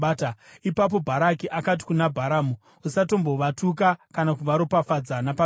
Ipapo Bharaki akati kuna Bharamu, “Usatombovatuka kana kuvaropafadza napaduku!”